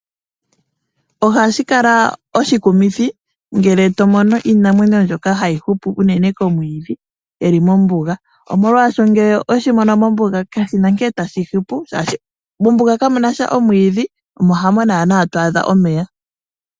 Ohashi kala oshikumithi ngele tomono iinamwenyo mbyoka hayi hupu unene komwiidhi yili mombuga. Ngele oweshi mono mombuga kashina nkene tashi hupu oshoka mombuga kamunasha omwiidhi mo ito adhamo naanaa omeya.